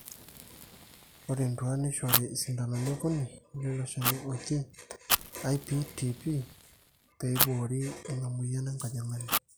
ore entuaa neishori isindanoni okuni leilo shani oji IPTp peeiboori ina mweyian enkajang'ani